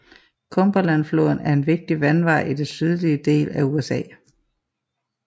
Cumberlandfloden er en vigtig vandvej i den sydlige del af USA